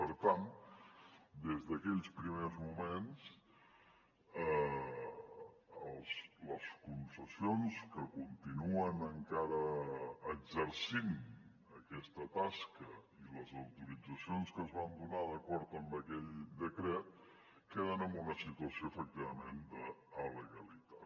per tant des d’aquells primers moments les concessions que continuen encara exercint aquesta tasca i les autoritzacions que es van donar d’acord amb aquell decret queden en una situació efectivament d’alegalitat